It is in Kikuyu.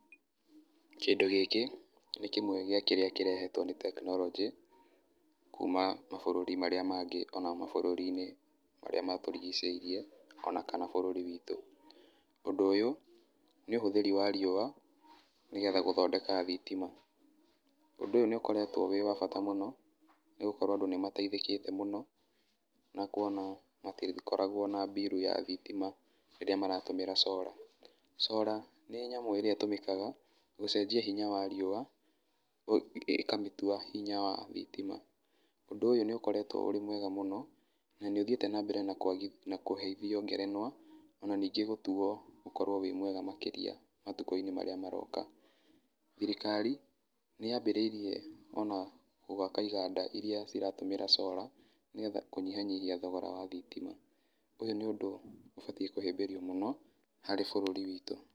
Kĩndũ gĩkĩ, nĩ kĩmwe gĩa kĩrĩa kĩrehetwo nĩ tekinoronjĩ, kuma mabũrũri marĩa mangĩ ona mabũrũri-inĩ marĩa matũrigicĩirie ona kana bũrũri witũ. Ũndũ ũyũ, nĩ ũhũthĩri wa riũa, nĩ getha gũthondeka thitima, ũndũ ũyũ nĩ ũkoretwo wĩ wa bata mũno, nĩ gũkorwo andũ nĩ mateithĩkĩte mũno, na kuona matikoragwo na mbirũ ya thitima, rĩria maratũmĩra solar. Solar nĩ nyamũ ĩrĩa ĩtũmĩkaga gũcenjia hinya wa riũa ĩkamĩtua hinya wa thitima. Ũndũ ũyũ nĩ ũkoretwo ũrĩ mwega mũno, na nĩ ũthiĩte na mbere na kũheithio ngerenwa ona ningĩ gũtuo ũkorwo wĩ mwega makĩria matukũ-inĩ marĩa maroka. Thirikari nĩ yambĩrĩirie onagwaka iganda iria iratũmĩra solar nĩ getha kũnyihanyihia ũhũthĩri wa thitima, ũyũ nĩ ũndũ ũbatiĩ kũhĩmbĩrio mũno harĩ bũrũri witũ.